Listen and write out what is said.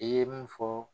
I ye mun fɔ